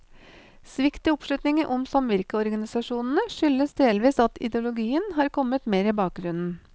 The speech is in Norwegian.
Svikt i oppslutningen om samvirkeorganisasjonene, skyldes delvis at ideologien har kommet mer i bakgrunnen.